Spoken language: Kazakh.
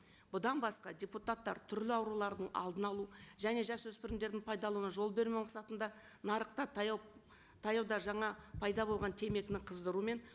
бұдан басқа депутаттар түрлі аурулардың алдын алу және жас өспірімдердің пайдалануына жол бермеу мақсатында нарықта таяу таяуда жаңа пайда болған темекіні қыздыру мен